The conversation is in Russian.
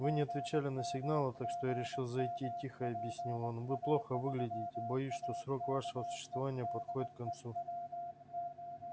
вы не отвечали на сигналы так что я решил зайти тихо объяснил он вы плохо выглядите боюсь что срок вашего существования подходит к концу